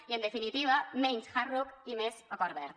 i en definitiva menys hard rock i més acord verd